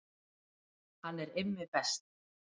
Hann er Immi best.